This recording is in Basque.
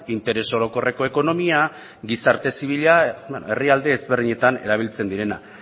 interes orokorreko ekonomia gizarte zibila herrialde ezberdinetan erabiltzen direnak